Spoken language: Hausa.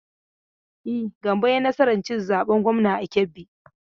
E, Gambo ya yi nasar cin zaben gwamnan a Kebbi.